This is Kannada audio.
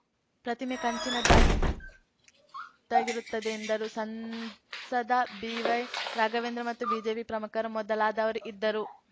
ಪ್ರತಿಮೆ ಕಂಚಿನದ್ದಾಗಿದ್ದಾಗಿರುತ್ತದೆ ಎಂದರು ಸಂಸದ ಬಿವೈರಾಘವೇಂದ್ರ ಮತ್ತು ಬಿಜೆಪಿ ಪ್ರಮುಖರು ಮೊದಲಾದವರು ಇದ್ದರು